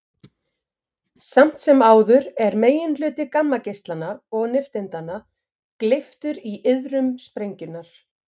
Samt sem áður er meginhluti gammageislanna og nifteindanna gleyptur í iðrum sprengjunnar.